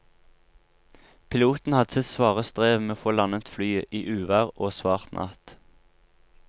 Piloten hadde sitt svare strev med å få landet flyet i uvær og svart natt.